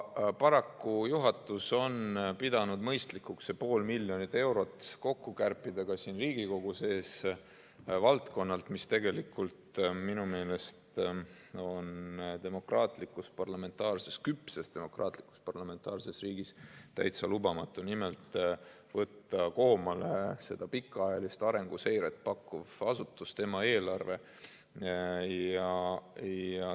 Paraku juhatus on pidanud mõistlikuks nõutud pool miljonit eurot kärpida siin Riigikogu sees valdkonnas, kus see minu meelest on küpses demokraatlikus parlamentaarses riigis täitsa lubamatu: nimelt võtta koomale pikaajalist arenguseiret pakkuva asutuse eelarve.